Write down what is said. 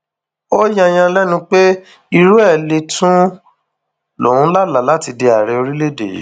ó yààyàn lẹnu pé irú ẹ lè tún ń lóun lálàá láti di ààrẹ orílẹèdè yìí